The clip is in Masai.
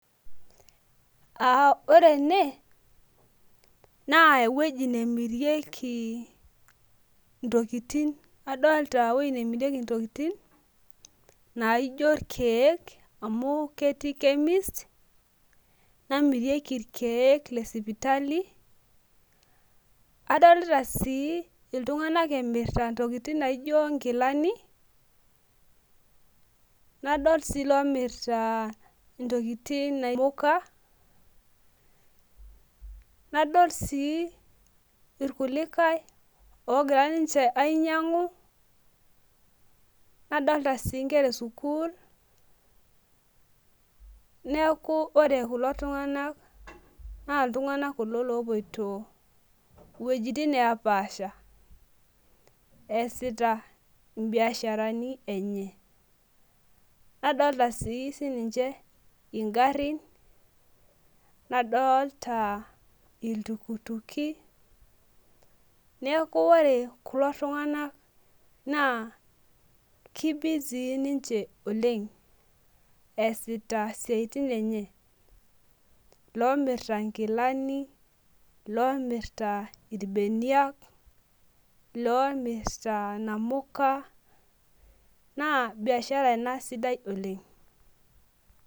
aa ore ene naa eweji nemirieki intokitin adolta eweji nemirieki intokitin naijo irkeek amu ketii chemist namirieki ilkeek le sipitali, adolita sii iltung'anak emirta intokitin naijo inkilani , nadol sii ilo mirta inamuka nadol sii ilkulikae oogira ninche ainyang'u nadoolta sii inkera esukuul neeku ore kulo tung'anak naa iltung'anak kulo loopoito iwejitin nee paasha, eesita ibiasharani enye nadoolta sii sinche igarin , iltukituki, neeku ore ku tung'anak naa kibisii niche oleng' esita isiatin enye loomirta inkilani iloomirta irbeniak , iloomita inamuka, naa biashara ina sidai oleng'.